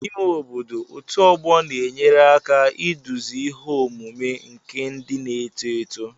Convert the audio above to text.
N'ime obodo, otu ọgbọ na-enyere aka iduzi ihe omume nke ndị na-eto eto